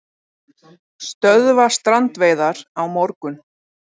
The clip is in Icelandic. Stöðva strandveiðar á morgun